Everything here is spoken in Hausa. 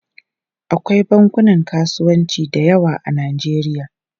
Akwai bankunan kasuwanci da yawa a Najeriya.